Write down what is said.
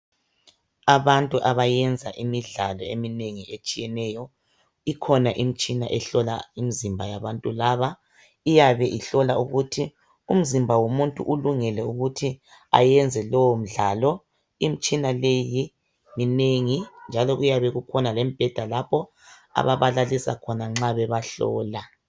Abantu abayenza imidlalo eminengi etshiyeneyo, ikhona imitsihina ihlola imizimba yabantu laba. Iyabe ihlola ukuthi umzimba walomuntu ulungele ukuthi ayenze lo mdlalo. Imtshina leyi minengi, njalo iyabe kukhona lembheda lapho abbalalisa nxa bebahlola.